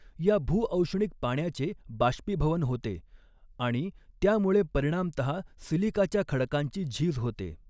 या भूऔष्णिक पाण्याचे बाष्पीभवन होते आणि त्यामुळे परिणामतः सिलीकाच्या खडकांची झीज होते.